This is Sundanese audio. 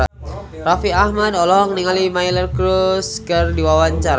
Raffi Ahmad olohok ningali Miley Cyrus keur diwawancara